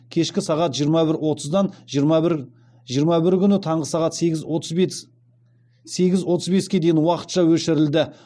кешкі сағат жиырма бір отыздан жиырма бірі күні таңғы сағат сегіз отыз беске дейін уақытша өшірілді